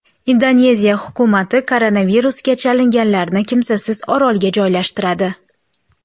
Indoneziya hukumati koronavirusga chalinganlarni kimsasiz orolga joylashtiradi.